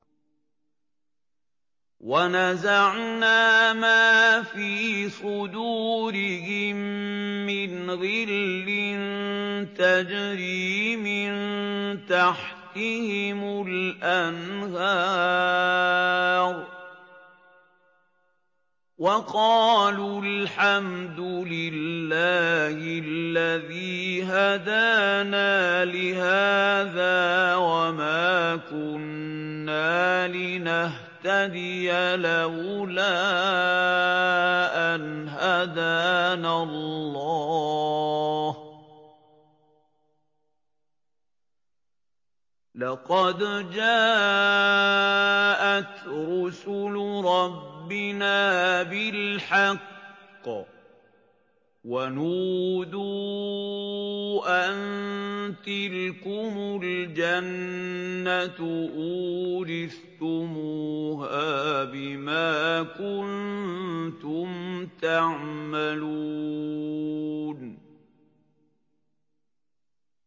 وَنَزَعْنَا مَا فِي صُدُورِهِم مِّنْ غِلٍّ تَجْرِي مِن تَحْتِهِمُ الْأَنْهَارُ ۖ وَقَالُوا الْحَمْدُ لِلَّهِ الَّذِي هَدَانَا لِهَٰذَا وَمَا كُنَّا لِنَهْتَدِيَ لَوْلَا أَنْ هَدَانَا اللَّهُ ۖ لَقَدْ جَاءَتْ رُسُلُ رَبِّنَا بِالْحَقِّ ۖ وَنُودُوا أَن تِلْكُمُ الْجَنَّةُ أُورِثْتُمُوهَا بِمَا كُنتُمْ تَعْمَلُونَ